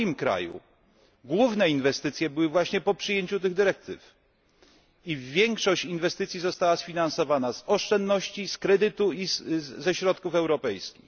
W moim kraju główne inwestycje były właśnie po przyjęciu tych dyrektyw. Większość inwestycji została sfinansowana z oszczędności, z kredytów i ze środków europejskich.